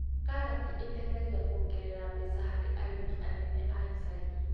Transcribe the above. Karati iteithagia kuongerera mbeca harĩ arĩmi anene a icagi-inĩ